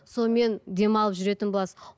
сонымен демалып жүретін боласыз